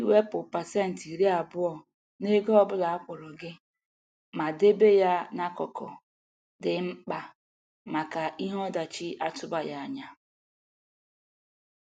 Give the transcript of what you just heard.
Iwepụ pasentị iri abụọ n'ego ọ bụla akwụrụ gị ma debe ya n'akụkụ dị mkpa maka ihe ọdachi atụbaghị anya.